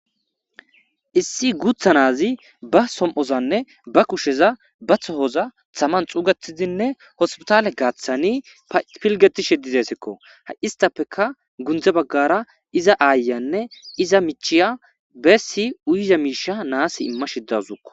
issi guutha naazi ba som7ozanne ba kusheza batho hoza thaman xuugetidinne hospitale gaaththani pilgetishe dizeesekko ha7istappeka gundze baggara iza aayanne iza michiya beessi uyiza miisha naas imma shiddazukko